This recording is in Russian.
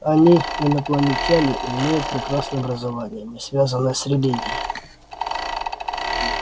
они инопланетяне и имеют прекрасное образование не связанное с религией